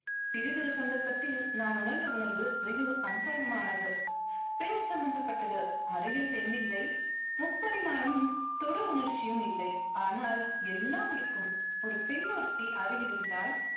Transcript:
பிரிதொரு சந்தர்ப்பத்தில் நான் உணர்ந்த உணர்வு வெகு அந்தரங்கமானது. பெண் சம்பந்தப்பட்டது. அருகில் பெண் இல்லை. முப்பரிமாணமும் தொடு உணர்ச்சியும் இல்லை. ஆனால் எல்லாம் இருக்கும். ஒரு பெண்ணொருத்தி அருகில் இருந்தால்